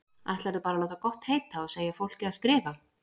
Ætlarðu bara að láta gott heita að segja fólki að skrifa!